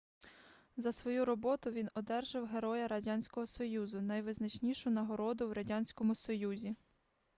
за свою роботу він одержав героя радянського союзу - найвизначнішу нагороду в радянському союзі